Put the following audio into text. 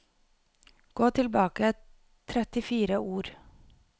Gå tilbake trettifire ord